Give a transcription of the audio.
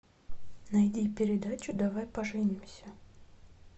найди передачу давай поженимся